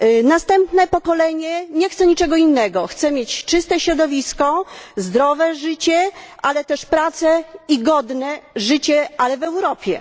Następne pokolenie nie chce niczego innego chce mieć czyste środowisko, zdrowe życie, ale też pracę i godne życie, ale w Europie.